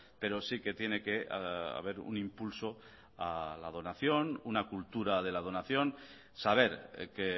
pero sí que tiene que haber un impulso a la donación una cultura de la donación saber que